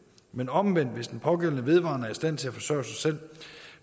men omvendt hvis den pågældende vedvarende er i stand til at forsørge sig selv